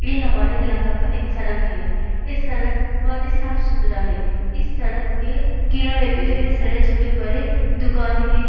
ये हमारे इलाका का एक सड़क है। इस सड़क बोहोत ही साफ-सुथरा है। इस सड़क के किनारे पे ढेर सारे छोटे बड़े दुकान है।